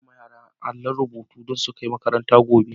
Na siya ma yara na àllon rubutu don su kai makaranta gobe.